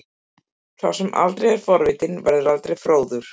Sá sem aldrei er forvitinn verður aldrei fróður.